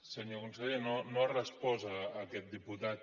senyor conseller no ha respost a aquest diputat